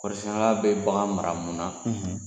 Kɔɔrisɛnna bɛ bagan mara mununa?